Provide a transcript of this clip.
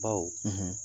Baw